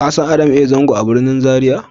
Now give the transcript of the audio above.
ka san Adam A Zango a birnin Zaria?